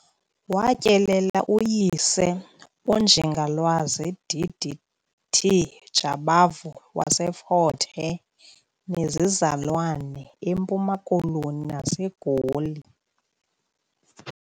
Watyelela uyise, uNjingalwazi D.D.T. Jabavu waseFort Hare, nezizalwane eMpuma Koloni naseGoli.